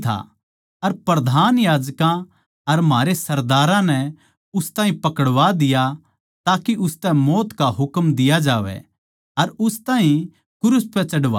अर प्रधान याजकां अर म्हारै सरदारां नै उस ताहीं पकड़वा दिया ताके उसतै मौत का हुकम दिया जावै अर उसनै क्रूस पै चढ़वाया